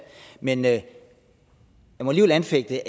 men jeg må alligevel anfægte